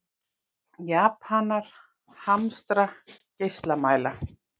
Japanar hamstra geislamæla